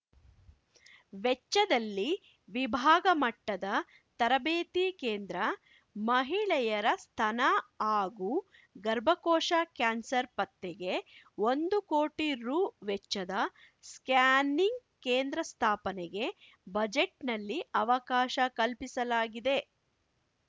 ವೆಚ್ಚದಲ್ಲಿ ವಿಭಾಗ ಮಟ್ಟದ ತರಬೇತಿ ಕೇಂದ್ರ ಮಹಿಳೆಯರ ಸ್ತನ ಹಾಗೂ ಗರ್ಭಕೋಶ ಕ್ಯಾನ್ಸರ್‌ ಪತ್ತೆಗೆ ಒಂದು ಕೋಟಿ ರು ವೆಚ್ಚದ ಸ್ಕ್ಯಾನಿಂಗ್‌ ಕೇಂದ್ರ ಸ್ಥಾಪನೆಗೆ ಬಜೆಟ್‌ನಲ್ಲಿ ಅವಕಾಶ ಕಲ್ಪಿಸಲಾಗಿದೆ